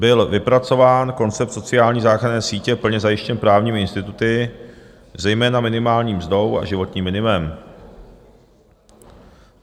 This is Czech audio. Byl vypracován koncept sociální záchranné sítě plně zajištěný právními instituty, zejména minimální mzdou a životním minimem.